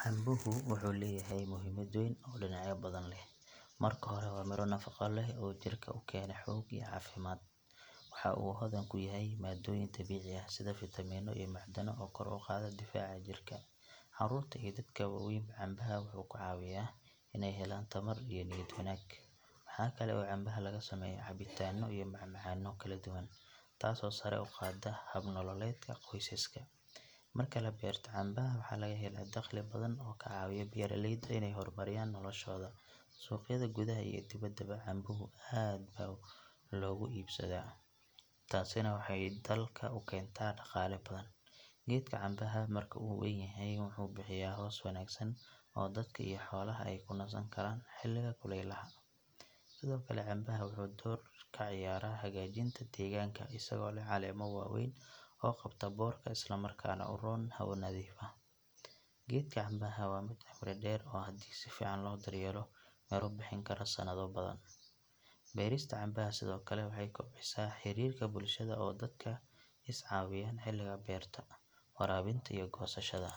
Cambehu wuxuu leeyahay muhiimad weyn oo dhinacyo badan leh. Marka hore waa miro nafaqo leh oo jirka u keena xoog iyo caafimaad. Waxa uu hodan ku yahay maaddooyin dabiici ah sida fiitamiinno iyo macdano oo kor u qaada difaaca jirka. Carruurta iyo dadka waaweynba cambaha wuxuu ka caawiyaa inay helaan tamar iyo niyad wanaag. Waxa kale oo cambaha laga sameeyaa cabitaanno iyo macmacaanno kala duwan taasoo sare u qaadda hab nololeedka qoysaska. Marka la beerto cambaha waxaa laga helaa dakhli badan oo ka caawiya beeraleyda inay horumariyaan noloshooda. Suuqyada gudaha iyo dibaddaba cambuhu aad buu looga iibsadaa, taasina waxay dalka u keentaa dhaqaale badan. Geedka cambaha marka uu weyn yahay wuxuu bixiyaa hoos wanaagsan oo dadka iyo xoolaha ay ku nasan karaan xilliga kulaylaha. Sidoo kale cambaha wuxuu door ka ciyaaraa hagaajinta deegaanka isagoo leh caleemo waaweyn oo qabta boodhka isla markaana u roon hawo nadiif ah. Geedka cambaha waa mid cimri dheer oo haddii si fiican loo daryeelo miro bixin kara sanado badan. Beerista cambaha sidoo kale waxay kobcisaa xiriirka bulshada oo dadku is caawiyaan xilliga beerta, waraabinta iyo goosashada.